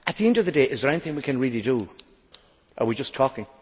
At the end of the day, is there anything we can really do, or are we just talking?